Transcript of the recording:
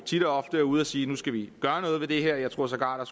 tit og ofte er ude at sige at nu skal vi gøre noget ved det her og jeg tror sågar der